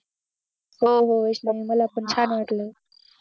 हो हो मला पण छान वाटलं